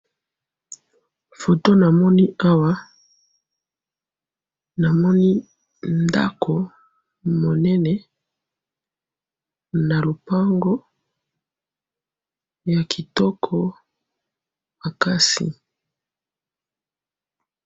photo namoni awa namoni ndako monene na lopangu ya kitoko makasi